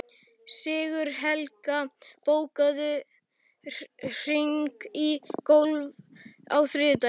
Sigurhelga, bókaðu hring í golf á þriðjudaginn.